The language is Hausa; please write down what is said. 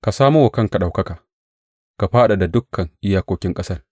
Ka samo wa kanka ɗaukaka; ka fadada dukan iyakokin ƙasar.